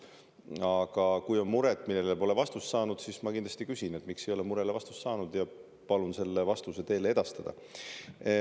Aga kui on mure, millele pole vastust saadud, siis ma kindlasti küsin, miks te ei ole murele vastust saanud, ja palun selle vastuse teile edastada.